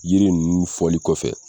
Yiri nunnu fɔli kɔfɛ.